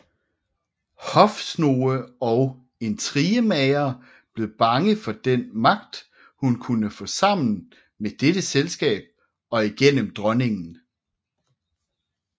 Hofsnoge og intrigemagere blev bange for den magt hun kunne få sammen med dette selskab og igennem dronningen